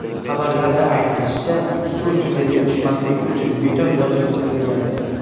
Xabarlarda aytilishicha, suv tunnelga tushmasligi uchun beton lotok qilingan.